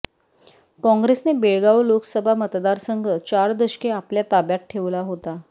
काँग्रेसने बेळगाव लोकसभा मतदारसंघ चार दशके आपल्या ताब्यात ठेवला होता